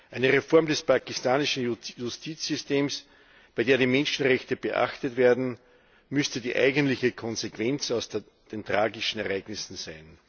Eine Reform des pakistanischen Justizsystems, bei der die Menschenrechte beachtet werden, müsste die eigentliche Konsequenz aus den tragischen Ereignissen sein.